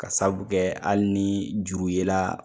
Ka sababu kɛ hali ni juru yela